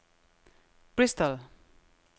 Bristol